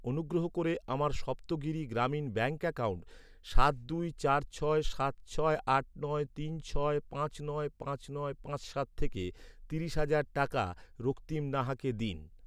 অনুগ্রহ করে আমার সপ্তগিরি গ্রামীণ ব্যাঙ্ক অ্যাকাউন্ট সাত দুই চার ছয় সাত ছয় আট নয় তিন ছয় পাঁচ নয় পাঁচ নয় পাঁচ সাত থেকে তিরিশ হাজার টাকা রক্তিম নাহাকে দিন।